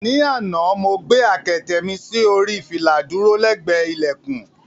Ní àná, mo gbé àkẹtẹ̀ mi sí orí fìlà dúró lẹ́gbẹ̀ẹ́ ilẹ̀kùn.